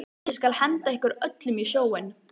Ég skal henda ykkur öllum í sjóinn!